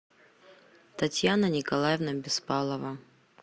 татьяна николаевна беспалова